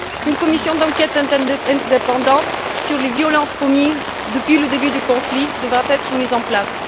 Une commission d'enquête indépendante sur les violences commises depuis le début du conflit devra être mise en place.